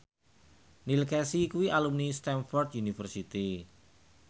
Neil Casey kuwi alumni Stamford University